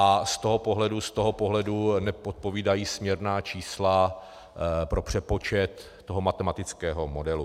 A z toho pohledu neodpovídají směrná čísla pro přepočet toho matematického modelu.